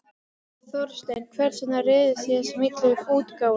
Þorsteinn, hvers vegna réðust þið í þessa miklu útgáfu?